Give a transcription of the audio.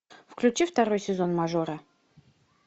включи второй сезон мажора